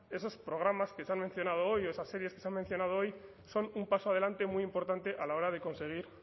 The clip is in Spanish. esos programas que se han mencionado hoy o esas series que se han mencionado hoy son un paso adelante muy importante a la hora de conseguir